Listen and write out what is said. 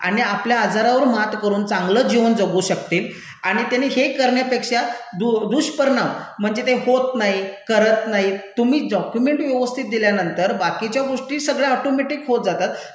आणि आपल्या आजारावर मात करून चांगलं जीवन जगू शकतील आणि त्यांनी हे करण्यापेक्षा दुष्परिणाम म्हणजे ते होत नाही, करत नाहीत, तुम्ही डॉक्यूमेंट व्यवस्थित दिल्यानंतर बाकीच्या गोष्टी सगळ्या ऑटोमॅटिक होत जातात,